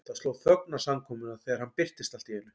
Það sló þögn á samkomuna þegar hann birtist allt í einu.